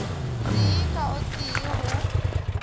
tee ka o tee go